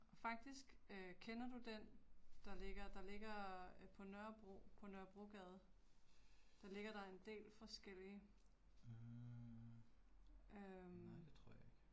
Faktisk, øh kender du den der ligger, der ligger på Nørrebro, på Nørrebrogade. Der ligger der en del forskellige. Øh